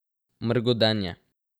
Mrgodenje.